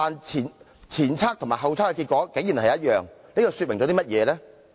前測和後測的結果一致究竟說明甚麼呢？